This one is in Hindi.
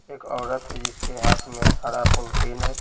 एक औरत है जिसके हाथ में हरा पॉलथीन --